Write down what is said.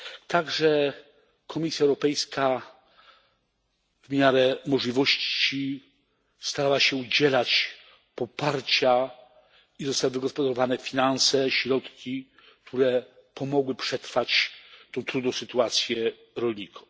Także Komisja Europejska w miarę możliwości starała się udzielać poparcia i zostały wygospodarowane finanse, środki, które pomogły przetrwać tę trudną sytuację rolnikom.